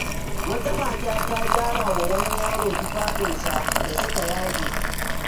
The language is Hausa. Wata mata ta gyara wa wani yaro tufafinsa da suka yage.